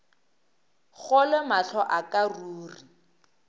kgolwe mahlo a ka ruri